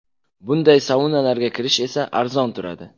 Bunday saunalarga kirish esa arzon turadi.